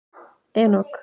Enok